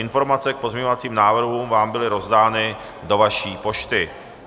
Informace k pozměňovacím návrhům vám byly rozdány do vaší pošty.